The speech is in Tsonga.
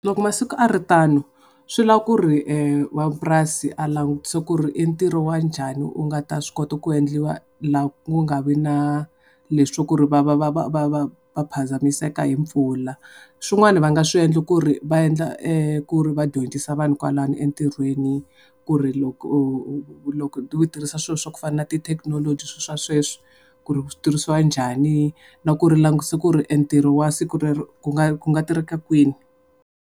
Loko masiku a ri tano, swi lava ku ri n'wamapurari a langutisa ku ri i ntirho wa njhani wu nga ta swi kota ku endliwa la ku nga vi na le swa ku ri va va va va va va va phazamiseka hi pfula. Swin'wana va nga swi endla ku ri va endla ku ri va dyondzisa vanhu kwalano entirhweni ku ri loko loko u tirhisa swilo swa ku fana na ti technology swilo swa sweswi, ku ri swi tirhisiwa njhani. Na ku ri u langutise ku ri entirho wa siku rero ku nga ku nga tirheka kwini.